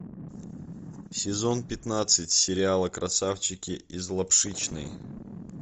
сезон пятнадцать сериала красавчики из лапшичной